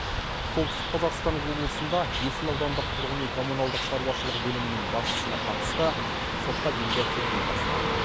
солтүстік қазақстан облысында есіл аудандық тұрғын үй коммуналдық шаруашлығы бөлімінің басшысына қатысты сотқа дейінгі тергеу басталды